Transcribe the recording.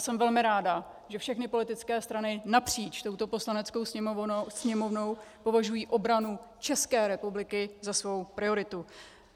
Jsem velmi ráda, že všechny politické strany napříč touto Poslaneckou sněmovnou považují obranu České republiky za svou prioritu.